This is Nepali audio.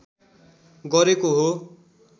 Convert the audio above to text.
गरेको हो